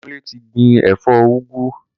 Kunle ti gbin ẹfọ úgwú